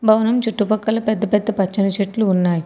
భవనం చుట్టూ పక్కల పెద్ద పెద్ద పచ్చని చెట్లు ఉన్నాయి.